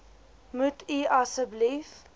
moet u asseblief